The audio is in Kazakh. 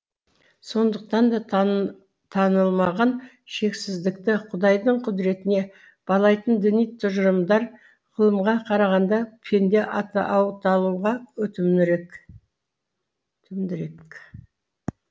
сондықтан да танылмаған шексіздікті құдайдың құдіретіне балайтын діни тұжырымдар ғылымға қарағанда пенде атаулыға өтімдірек